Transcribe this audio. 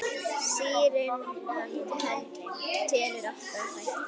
Serían telur átta þætti.